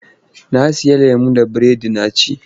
Na sayi lemo da biredi na ci.